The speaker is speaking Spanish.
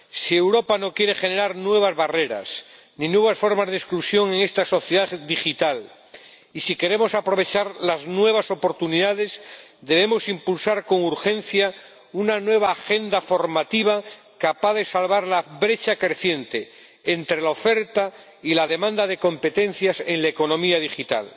Si Europa no quiere generar nuevas barreras ni nuevas formas de exclusión en esta sociedad digital y si queremos aprovechar las nuevas oportunidades, debemos impulsar con urgencia una nueva agenda formativa capaz de salvar la brecha creciente entre la oferta y la demanda de competencias en la economía digital.